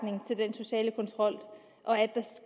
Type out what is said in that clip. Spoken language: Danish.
social kontrol